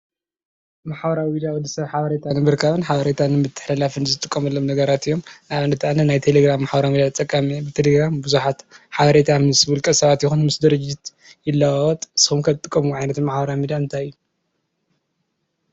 ማሕበራዊ ሚድያ ወዲ ሰብ ሓበሬታ ንምርካብን ሓበሬታ ንምትሕልላፍን ዝጥቀሙሎም ነገራት እዮም። ንኣብነት ኣነ ናይ ቴሌግራም ማሕበራዊ ሚድያ ተጠቃሚ እየ። ብተደጋጋሚ ብዙሓት ሓበሬታ ምስ ውልቀ ሰባት ይኩን ምስ ድርጅት ይለዋወጥ። ንስኩም ከ ትጥቀምዎ ማሕበራዊ ሚድያ እንታይ እዩ?